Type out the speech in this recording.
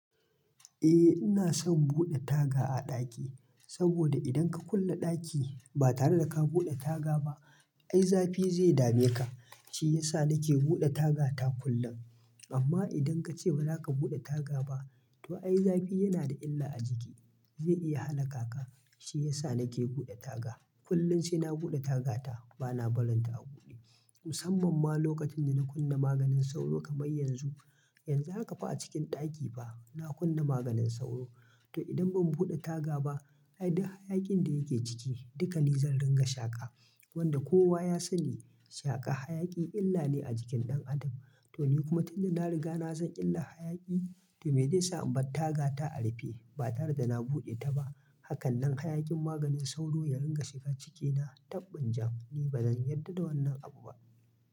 Eh ina son bude taga a ɗaki, saboda idan ka kulle ɗaki ba tare da ka bude taga ba, ai zafi zai dame ka. Shi yasa na ke bude taga ta kullum. Amma idan ka ce ba za ka bude taga ba, to ai zafi yana da illa a jiki. Zai iya hana kaka. Shi yasa na ke bude taga. Kullum sai na bude taga ta. Ba na barin ta a buɗe. Musamman ma lokacin da na kunna maganin sauro kamar yanzu. Yanzu haka fa a cikin ɗaki fa, na kunna maganin sauro. To idan ban bude taga ba, ai duk hayakin da yake ciki, duka ni zan ringa shaka. Wanda kowa ya sani, shaka hayaki illa ne a jikin ɗan adam. To ni kuma tun da na riga na san illa hayaki, to me zai sa ban taga ta a rufe ba tare da na buɗe ta ba? Hakan dan hayakin maganin sauro ya ringa shiga cikina. Tabbun jam. Ni ba zan yarda da wannan abu ba.